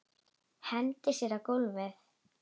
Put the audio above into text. Hendir sér á gólfið.